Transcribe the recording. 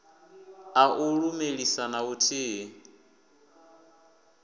a u lumelisa na vhuthihi